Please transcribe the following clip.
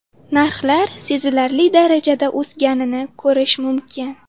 Narxlar sezilarli darajada o‘sganini ko‘rish mumkin.